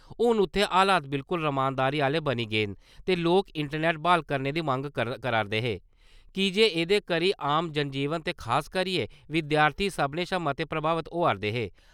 हून उत्थै हालात बिल्कूल रमानदारी आह्‌ले बनी गेदे न ते लोक, इंटरनेट ब्हाल करने दी मंग करा`रदे की जे एह्दे करी आम जनजीवन ते खासकरियै बिद्यार्थी सब्भनें शा मते प्रभाबत होआ'रदे हे।